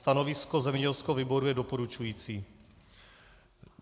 Stanovisko zemědělského výboru je doporučující.